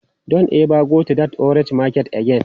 Don't ever go to that orange market again!